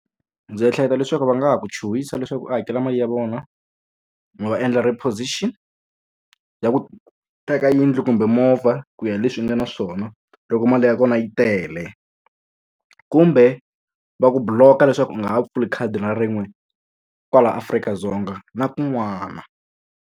Ndzi ehleketa leswaku va nga ha ku chuhisa leswaku u hakela mali ya vona, no endla repossession ya ku teka yindlu kumbe movha. Ku ya hi leswi u nga na swona loko mali ya kona yi tele. Kumbe va ku block-a leswaku u nga ha pfuli khadi na rin'we kwala Afrika-Dzonga na kun'wana.